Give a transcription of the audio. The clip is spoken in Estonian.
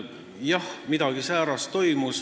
Jah, midagi säärast seal toimus.